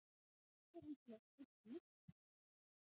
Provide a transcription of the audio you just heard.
Hér er væntanlega spurt um myglusveppi.